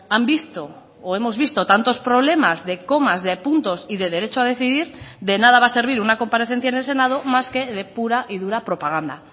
han visto o hemos visto tantos problemas de comas de puntos y de derecho a decidir de nada va a servir una comparecencia en el senado más que de pura y dura propaganda